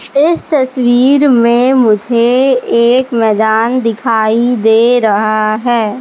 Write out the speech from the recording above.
इस तस्वीर में मुझे एक मैदान दिखाई दे रहा है।